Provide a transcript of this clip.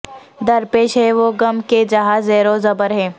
درپیش ہے وہ غم کہ جہاں زیرو زبر ہے